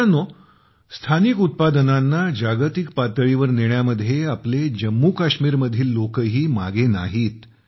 मित्रांनो स्थानिक उत्पादनांना जागतिक पातळीवर नेण्यामध्ये आपले जम्मू काश्मीरमधील लोकही मागे नाहीत